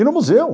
E no museu.